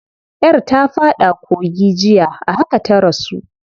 Yar ta fada kogi jiya, a haka ta rasu.